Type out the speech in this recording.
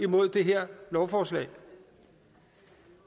mod det her lovforslag